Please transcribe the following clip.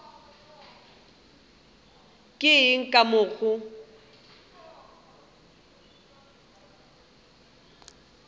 ke eng ka mo ga